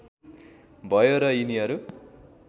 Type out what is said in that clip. भयो र यिनीहरू